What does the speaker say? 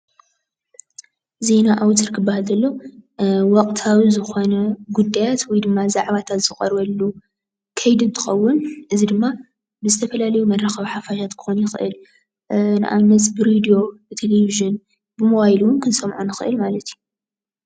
ዜና ኣዉታር ክበሃል ከሎ ወቅታዊ ዝኾኑ ጉዳያት ወይ ድማ ዛዕባታት ዝቀርበሉ ከይዲ እንትኸዉን እዚ ድማ ብዝተፈላለዩ መራኸብቲ ሓፋት ክኸዉን ይኽእል እዩ፡፡ ንኣብነት ብሬድዮ፣ ብተሌቪዠን ፣ብሞባይል እዉን ክንሰምዖ ንኽእል ማለት እዩ።